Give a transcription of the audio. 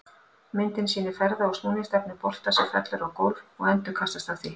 Myndin sýnir ferða- og snúningsstefnu bolta sem fellur á gólf og endurkastast af því.